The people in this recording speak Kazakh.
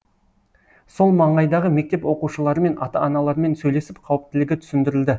сол маңайдағы мектеп оқушыларымен ата аналарымен сөйлесіп қауіптілігі түсіндірілді